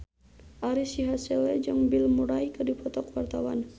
Ari Sihasale jeung Bill Murray keur dipoto ku wartawan